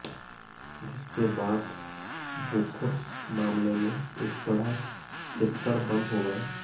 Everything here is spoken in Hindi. जिसके बाद बोफोर्स मामले में एक बड़ा चैप्टर बंद हो गया